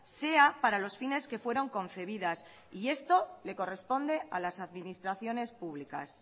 sea para los fines que fueron concebidas y esto le corresponde a las administraciones públicas